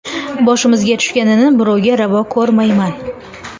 Boshimizga tushganini birovga ravo ko‘rmayman.